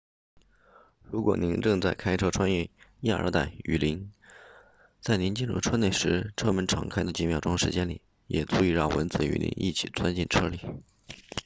如果您正在开车穿越亚热带雨林在您进入车内时车门敞开的几秒钟时间里也足以让蚊子与您一起钻进车里